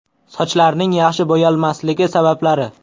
Sochlarning yaxshi bo‘yalmasligi sabablari.